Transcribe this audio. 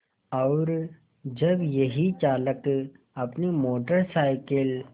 और जब यही चालक अपनी मोटर साइकिल